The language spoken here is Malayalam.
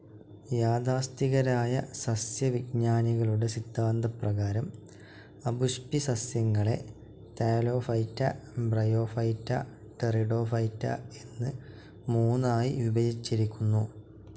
യാഥാസ്ഥിതികരായ സസ്സ്യവിജ്ഞാനികളുടെ സിദ്ധാന്തപ്രകാരം അപുഷ്പിസസ്സ്യങ്ങളെ താലോഫൈറ്റ, ബ്രയോഫൈറ്റ, ടെറിഡോഫൈറ്റ എന്ന് മൂന്നായി വിഭജിച്ചിരിക്കുന്നു.